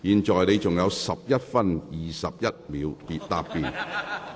梁國雄議員，你還有11分21秒答辯。